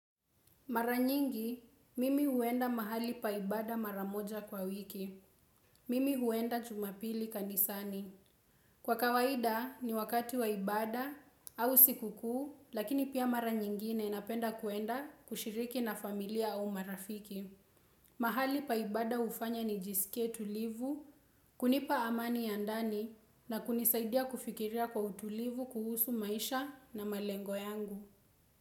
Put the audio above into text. Maranyingi, mimi huenda mahali pa ibada maramoja kwa wiki. Mimi huenda jumapili kanisani. Kwa kawaida ni wakati waibada au sikukuu, lakini pia maranyingine ninapenda kuenda kushiriki na familia au marafiki. Mahali pa ibada ufanya nijisikie tulivu, kunipa amani ya ndani na kunisaidia kufikiria kwa utulivu kuhusu maisha na malengo yangu.